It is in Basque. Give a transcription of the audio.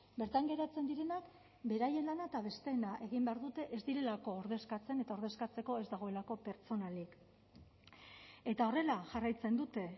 bertan geratzen direnak beraien lana eta besteena egin behar dute ez direlako ordezkatzen eta ordezkatzeko ez dagoelako pertsonalik eta horrela jarraitzen dute